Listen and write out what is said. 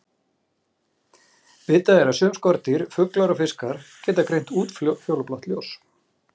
Vitað er að sum skordýr, fuglar og fiskar geta greint útfjólublátt ljós.